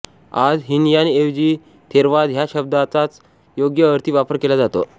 आज हीनयान ऐवजी थेरवाद ह्या शब्दाचाच योग्य अर्थी वापर केला जातो